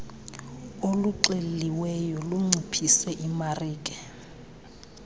oluxeliweyo lunciphise imarike